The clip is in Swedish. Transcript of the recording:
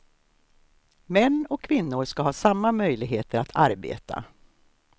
Män och kvinnor ska ha samma möjligheter att arbeta.